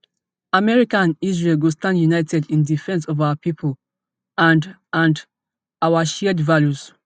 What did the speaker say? america and israel go stand united in defence of our pipo and and our shared values